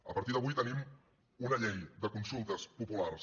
a partir d’avui tenim una llei de consultes populars